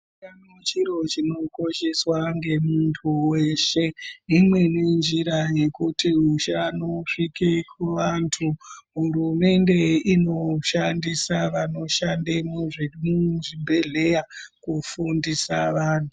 Utano chiro chinokosheswa ngemuntu weshe, imweni njira yekuti utano hurumende inoshandisa vantu vanoshande muzvibhedhleya kufundisa vantu.